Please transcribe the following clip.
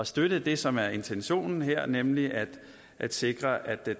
støtte det som er intentionen her nemlig at sikre at det